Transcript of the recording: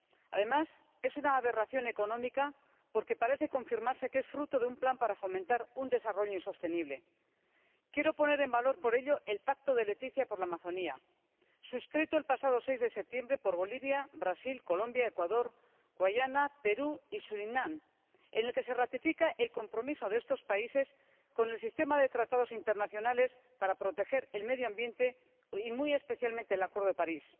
Además, es una aberración económica, porque parece confirmarse que es fruto de un plan para fomentar un desarrollo insostenible. Quiero poner en valor, por ello, el Pacto de Leticia por la Amazonia, suscrito el pasado seis de septiembre por Bolivia, Brasil, Colombia, Ecuador, Guyana, Perú y Surinam, en el que se ratifica el compromiso de estos países con el sistema de tratados internacionales para proteger el medio ambiente y muy especialmente el Acuerdo de París.